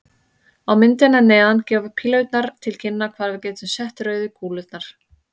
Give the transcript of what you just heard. Á myndinni að neðan gefa pílurnar til kynna hvar við getum sett rauðu kúlurnar.